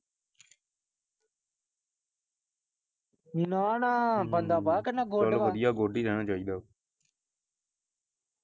ਨਾ ਨਾ ਚਲ ਵਧਿਆ good ਹੀ ਰਹਿਣਾ ਚਾਹੀਦਾ ਵਾ .